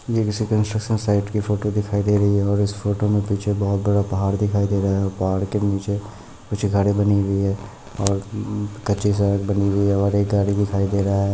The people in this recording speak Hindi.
ये कोई कन्स्ट्रक्शन साइट फोटो दिखई दे रही है और इस फोटो मे पीछे बहुत बड़ा पहाड़ दिखई दे रहा है और पहाड़ के नीचे कुछ घरे बनी हुई है और उम्म कच्ची सड़क दिखाई दे रही है और एक गाड़ी दिखाई दे रहा है।